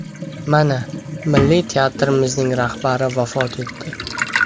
Mana, Milliy teatrimizning rahbari vafot etdi.